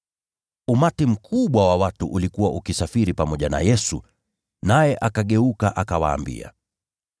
Umati mkubwa wa watu ulikuwa ukisafiri pamoja na Yesu, naye akageuka, akawaambia,